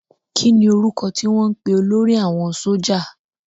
Kí ni orúkọ tí wọ́n ń pè olórí àwọn sójà?